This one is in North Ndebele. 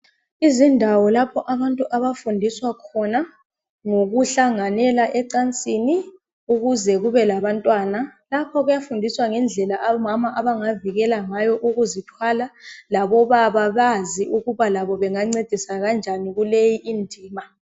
Izindawo lapho abantu abafundiswa khona ngokuhlanganela ecansini ukuze kube labantwana. Lapho kuyadundiswa ngendlela omama abangavikela ngayo ukuzithwala labo baba bazi ukuba bangancedisa njani kuleyi indima.